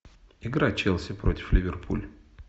игра челси против ливерпуль